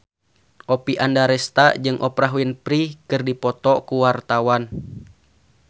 Oppie Andaresta jeung Oprah Winfrey keur dipoto ku wartawan